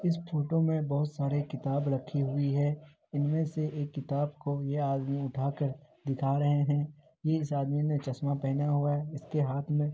इस फोटो मे बहुत सारे किताब रखी हुई है इनमे से एक किताब ये आदमी उठाकर दिखा रहे है ये इस आदमी ने चश्मा पहना हुआ है इसके हाथ मे --